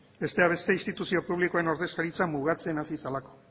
besteak beste instituzio publikoen ordezkaritza mugatzen hasi zelako